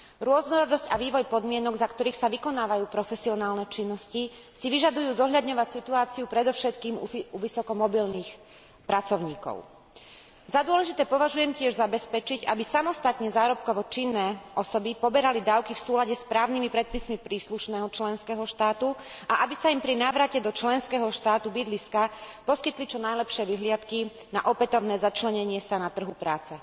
Rôznorodosť a vývoj podmienok, za ktorých sa vykonávajú profesionálne činnosti, si vyžadujú zohľadňovať situáciu predovšetkým u vysoko mobilných pracovníkov. Za dôležité považujem tiež zabezpečiť, aby samostatne zárobkovo činné osoby poberali dávky v súlade s právnymi predpismi príslušného členského štátu a aby sa im pri návrate do členského štátu bydliska poskytli čo najlepšie vyhliadky na opätovné začlenenie sa na trhu práce.